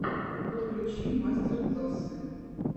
подключи мастер классы